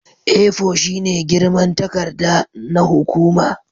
A4 shine girman takarda na hukuma